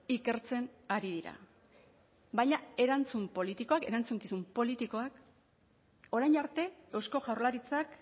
ikertzen ari dira baina erantzun politikoak erantzukizun politikoak orain arte eusko jaurlaritzak